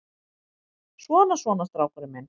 Svona, svona, strákurinn minn.